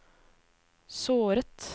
såret